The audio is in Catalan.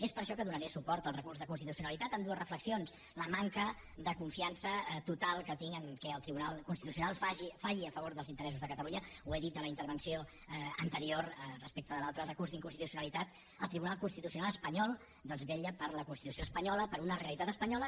és per això que donaré suport al recurs d’inconstitucionalitat amb dues reflexions la manca de confiança total que tinc en el fet que el tribunal constitucional falli a favor dels interessos de catalunya ho he dit a la intervenció anterior respecte de l’altre recurs d’inconsti tucionalitat el tribunal constitucional espanyol vetlla per la constitució espanyola per una realitat espanyola